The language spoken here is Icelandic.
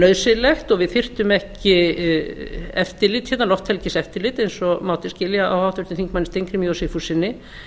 nauðsynlegt og við þyrftum ekki lofthelgiseftirlit eins og mátti skilja á háttvirtum þingmönnum steingrími j sigfússyni